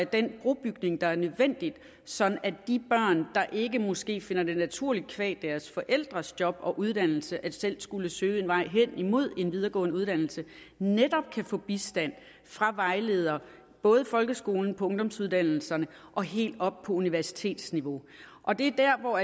den brobygning er nødvendig sådan at de børn der måske ikke finder det naturligt qua deres forældres job og uddannelse selv at skulle søge en vej hen imod en videregående uddannelse netop kan få bistand fra vejledere både i folkeskolen på ungdomsuddannelserne og helt op på universitetsniveau det er der hvor